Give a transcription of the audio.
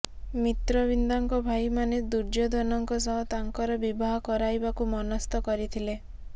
ମିତ୍ରବିନ୍ଦାଙ୍କ ଭାଇମାନେ ଦୁର୍ଯ୍ୟୋଧନଙ୍କ ସହ ତାଙ୍କର ବିବାହ କରାଇବାକୁ ମନସ୍ଥ କରିଥିଲେ